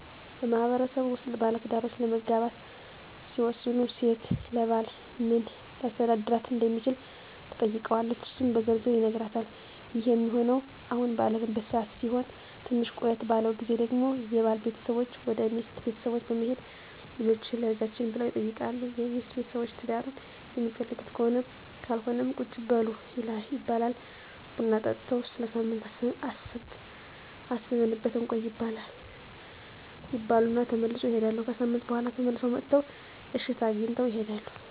በማህበረሰቡ ውስጥ ባለትዳሮች ለመጋባት ሲወስኑ ሴት ለባል በምን ሊያስተዳድራት እንደሚችል ትጠይቀዋለች እሱም በዝርዝር ይነግራታል ይህ ሚሆነው አሁን ባለንበት ሰዓት ሲሆን ትንሽ ቆየት ባለው ግዜ ደግሞ የባል ቤተሰቦች ወደ ሚስት ቤተሰቦች በመሄድ ልጃቹህን ለልጃችን ብለው ይጠይቃሉ የሚስት ቤተሰቦች ትዳሩን ሚፈልጉት ከሆነም ካልሆነም ቁጭ በሉ ይባላሉ ቡና ጠጥተው ለሳምንት አስበንበት እንቆይ ይባሉ እና ተመልሰው ይሄዳሉ። ከሣምንት በኋላ ተመልሰው መጥተው እሽታ አግኝተው ይሄዳሉ።